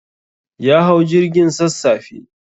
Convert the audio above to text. Ya hau jirgin sassafe.